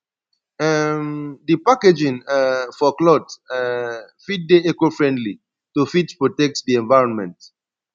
um di packaging um for cloth um fit dey ecofriendly to fit protect di environment